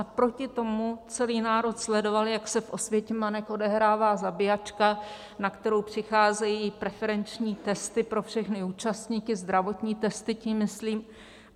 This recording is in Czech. A proti tomu celý národ sledoval, jak se v Osvětimanech odehrává zabíjačka, na kterou přicházejí preferenční testy pro všechny účastníky, zdravotní testy tím myslím.